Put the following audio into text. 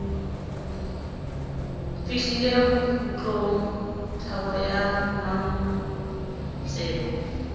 fihlile bokgutlong thabo ya mmatseko